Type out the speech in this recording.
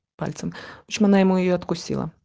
пальцем в общем она ему её откусила